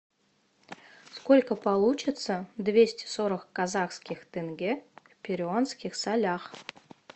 сколько получится двести сорок казахских тенге в перуанских солях